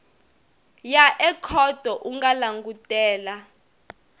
ya ekhoto u nga langutela